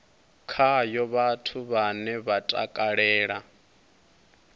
khayo vhathu vhane vha takalela